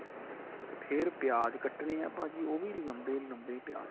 ਫੇਰ ਪਿਆਜ ਕੱਟਣੇ ਏ ਭਾਜੀ ਉਹ ਵੀ ਲੰਬੇ ਲੰਬੇ ਪਿਆਜ